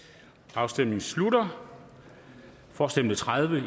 afstemningen slutter for stemte tredive